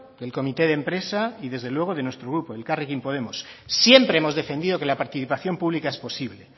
del comité de empresa y desde luego de nuestro grupo elkarrekin podemos siempre hemos defendido que la participación pública es posible